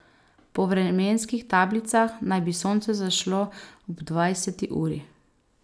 Po vremenskih tablicah naj bi sonce zašlo ob dvajseti uri.